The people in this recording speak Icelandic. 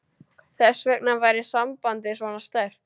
Þess vegna væri sambandið svona sterkt.